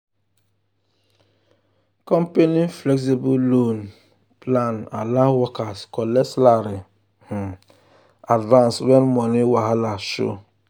um company flexible loan um plan allow workers collect salary um advance when money wahala show.